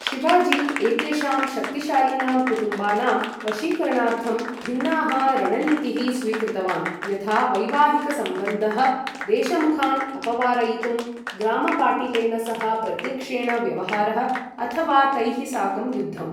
शिवाजी एतेषां शक्तिशालिनां कुटुम्बानां वशीकरणार्थं भिन्नाः रणनीतीः स्वीकृतवान्, यथा वैवाहिकसम्बन्धः, देशमुखान् अपवारयितुं ग्रामपाटिलेन सह प्रत्यक्षेण व्यवहारः, अथवा तैः साकं युद्धम्।